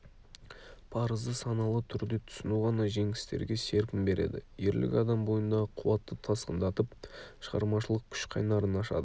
парызды саналы түрде түсіну ғана жеңістерге серпін береді ерлік адам бойындағы қуатты тасқындатып шығармашылық күш қайнарын ашады